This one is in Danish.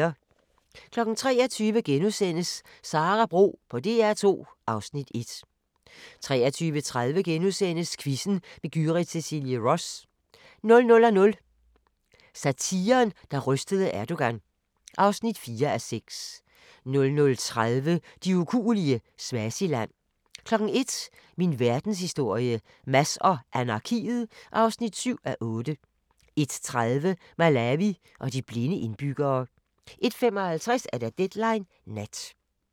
23:00: Sara Bro på DR2 (Afs. 1)* 23:30: Quizzen med Gyrith Cecilie Ross * 00:00: Satiren, der rystede Erdogan (4:6) 00:30: De ukuelige – Swaziland 01:00: Min verdenshistorie - Mads og anarkiet (7:8) 01:30: Malawi og de blinde indbyggere 01:55: Deadline Nat